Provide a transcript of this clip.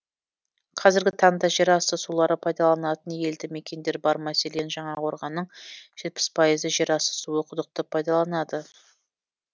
қазіргі таңда жер асты сулары пайдаланатын елді мекендер бар мәселен жаңақорғанның жетпіс пайызы жер асты суы құдықты пайдаланады